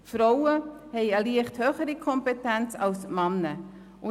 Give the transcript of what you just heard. Frauen haben eine leicht höhere Kompetenz als Männer.